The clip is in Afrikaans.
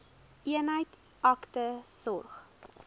eenheid akute sorg